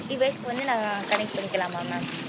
device க்கு வந்து நாங்க connect பண்ணிக்கலாமா mam